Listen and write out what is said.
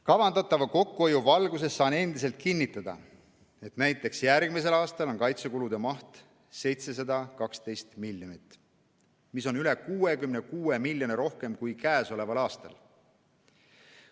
Kavandatava kokkuhoiu valguses saan endiselt kinnitada, et näiteks järgmisel aastal on kaitsekulude maht 712 miljonit, mis on üle 66 miljoni rohkem kui käesoleval aastal.